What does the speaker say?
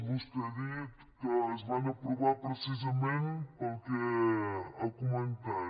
vostè ha dit que es van aprovar precisament pel que ha comentat